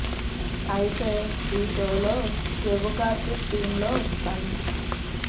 అయితే ఈ షోలో కెవ్వు కార్తిక్ టీమ్ లో పని